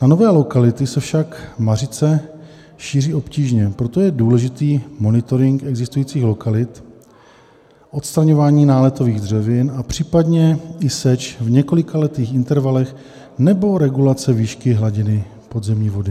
Na nové lokality se však mařice šíří obtížně, proto je důležitý monitoring existujících lokalit, odstraňování náletových dřevin a případně i seč v několikaletých intervalech nebo regulace výšky hladiny podzemní vody.